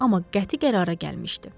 Amma qəti qərara gəlmişdi.